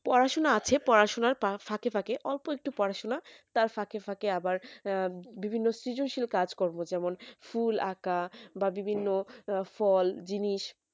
পড়াশোনা আছে পড়াশোনার ফাঁকে ফাঁকে অল্প একটু পড়াশোনা তার ফাঁকে ফাঁকে আবার বিভিন্ন সৃজনশীল কাজ কর্ম যেমন ফুল আঁকা বা বিভিন্ন ফল জিনিস